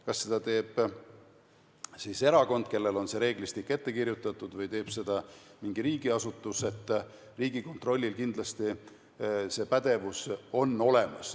Kas seda teeb erakond, kellel on see reeglistik ette kirjutatud, või teeb seda mingi riigiasutus, Riigikontrollil on kindlasti see pädevus olemas.